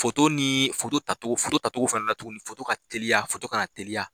ni tacogo fɛnɛ la tuguni ka teliya ka na teliya